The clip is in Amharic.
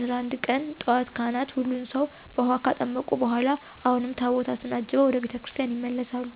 11 ቀን ጧት ካህናት ሁሉን ሰዉ በዉሀ ካጠመቁ በኋላ አሁንም ታቦታትን አጅበዉ ወደ ቤተ ክርስቲያን ይመለሳሉ።